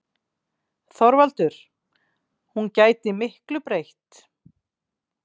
ÞORVALDUR: Hún gæti miklu breytt.